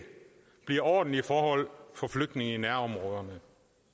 bliver ordentlige forhold for flygtninge i nærområderne